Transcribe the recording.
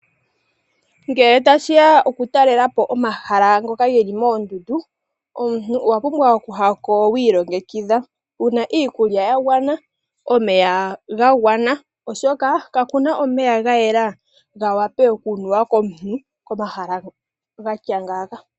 Ngele tashiya okutalela po omahala ngoka geli moondundu omuntu owa pumbwa okuya ko wiilongekidha wuna iikulya ya gawana wuna omeya ga gwana oshoka kakuna omeya omawanwa okunuwa komahala ngoka gatya ngaaka.